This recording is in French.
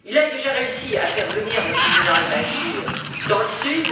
Il a déjà réussi à faire venir le président Al Bachir dans le Sud.